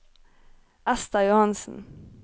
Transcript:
Ester Johansen